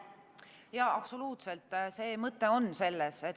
Jaa, absoluutselt, mõte on selles.